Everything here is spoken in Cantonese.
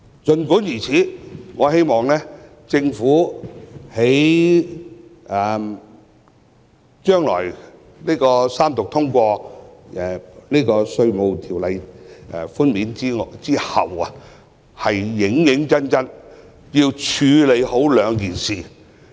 儘管如此，我希望政府在三讀通過《條例草案》後，認真處理兩件事。